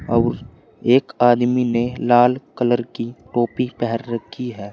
और एक आदमी ने लाल कलर की टोपी पहन रखी है।